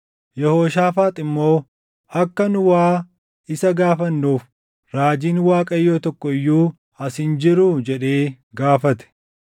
Yehooshaafaax immoo, “Akka nu waa isa gaafannuuf raajiin Waaqayyoo tokko iyyuu as hin jiruu?” jedhee gaafate.